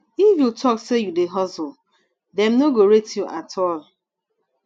if you tok sey you dey hustle dem no go rate you at all